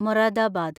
Moradabad